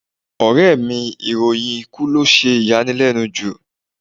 Ọ̀rẹ́ẹ̀ mi ìròyìn ikú lo sì yanilẹ́nu jù.